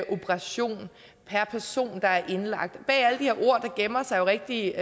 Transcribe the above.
operation per person der er indlagt bag alle de her ord gemmer sig rigtige